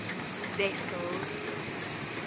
wessels